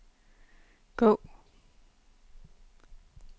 gå